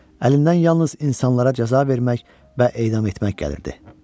Əlindən yalnız insanlara cəza vermək və edam etmək gəlirdi.